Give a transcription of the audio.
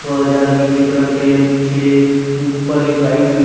वह जार नीले कलर के पीछे ऊपर एक लाइट भी--